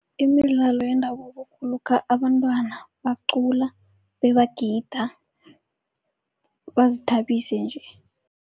Imidlalo yendabuko kulokha abantwana bacula bebagida bazithabise nje.